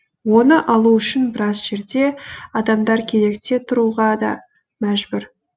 оны алу үшін біраз жерде адамдар кезекте тұруға да мәжбүр